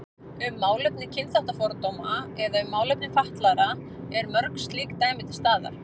Um málefni kynþáttafordóma eða um málefni fatlaðra eru mörg slík dæmi til staðar.